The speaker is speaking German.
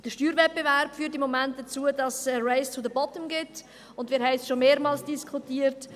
Der Steuerwettbewerb führt im Moment dazu, dass es ein «race to the bottom» gibt – wir haben es schon mehrmals diskutiert.